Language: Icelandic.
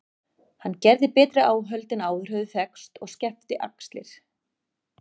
Hann gerði betri áhöld en áður höfðu þekkst og skefti axir.